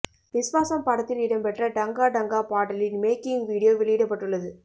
விஸ்வாசம் படத்தில் இடம்பெற்ற டங்கா டங்கா பாடலின் மேக்கிங் வீடியோ வெளியிடப்பட்டுள்ளது